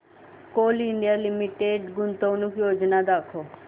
Coal India Limited गुंतवणूक योजना दाखव